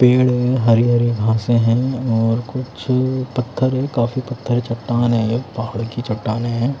पेड़ हैं हरी-हरी घासें हैं और कुछ पत्थर हैं काफी पत्थर हैं चट्टान हैं ये पहाड़ की चट्टान हैं।